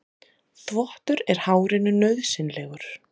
Þvottur er hárinu nauðsynlegur.